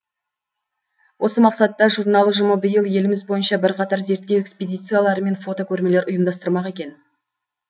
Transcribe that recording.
осы мақсатта журнал ұжымы биыл еліміз бойынша бірқатар зерттеу экспедициялары мен фотокөрмелер ұйымдастырмақ екен